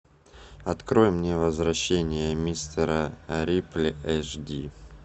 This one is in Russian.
открой мне возвращение мистера рипли эш ди